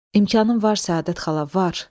İmkanım var Səadət xala, var.